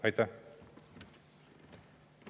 Aitäh!